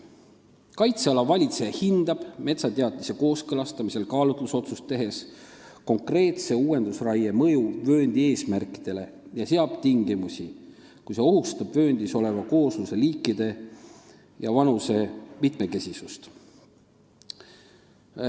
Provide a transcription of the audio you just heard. Kaitseala valitseja hindab metsateatise kooskõlastamisel kaalutlusotsust tehes konkreetse uuendusraie mõju vööndi eesmärkidele ja seab tingimusi, kui see raie ohustab vööndis oleva koosluse liikide ja vanuse mitmekesisust.